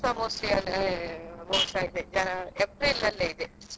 ಇನ್ನು ಇಲ್ಲಿಸ Mahalaxmi ದೇವಸ್ಥಾನ ಅದುಸ mostly ಅದು mostly April ಅಲ್ಲಿ ಇದೆ.